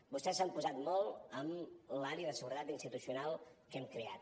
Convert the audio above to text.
vostès s’han posat molt amb l’àrea de seguretat institucional que hem creat